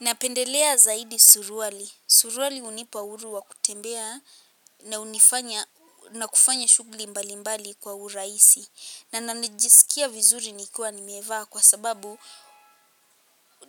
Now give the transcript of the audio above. Napendelea zaidi suruali. Suruwali hunipa uhuru wa kutembea na hunifanya na kufanya shughli mbali mbali kwa urahisi. Na najisikia vizuri nikiwa nimevaa kwa sababu,